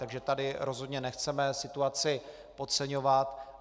Takže tady rozhodně nechceme situaci podceňovat.